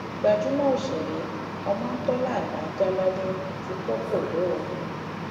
gbajúmọ òṣèré ọmọńtólàlá jáládé ti kọ koro o